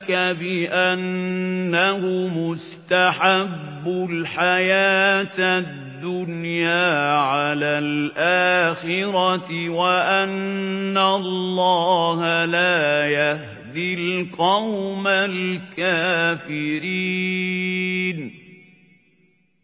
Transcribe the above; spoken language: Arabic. ذَٰلِكَ بِأَنَّهُمُ اسْتَحَبُّوا الْحَيَاةَ الدُّنْيَا عَلَى الْآخِرَةِ وَأَنَّ اللَّهَ لَا يَهْدِي الْقَوْمَ الْكَافِرِينَ